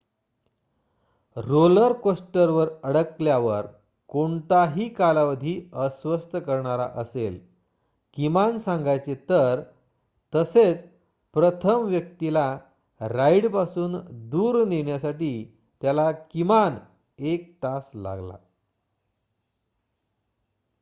roller कोस्टरवर अडकल्यावर कोणताही कालावधी अस्वस्थ करणारा असेल किमान सांगायचे तर तसेच प्रथम व्यक्तीला राइडपासून दूर नेण्यासाठी त्याला किमान एक तास लागला